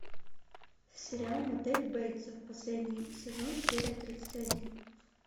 сериал мотель бейтсов последний сезон серия тридцать один